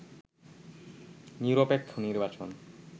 নিরপেক্ষ নির্বাচন